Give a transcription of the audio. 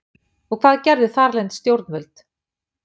Og hvað gerðu þarlend stjórnvöld?